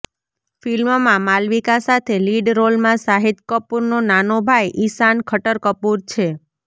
ફિલ્મમાં માલવિકા સાથે લીડ રોલમાં શાહિદ કપૂરનો નાનો ભાઇ ઇશાન ખટર કપૂર છે